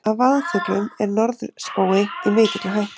af vaðfuglum er norðspói í mikilli hættu